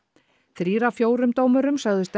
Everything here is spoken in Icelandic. þrír af fjórum dómurum sögðust